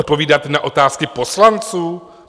Odpovídat na otázky poslanců?